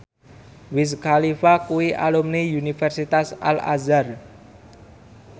Wiz Khalifa kuwi alumni Universitas Al Azhar